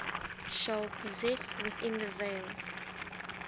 shall possess within the veil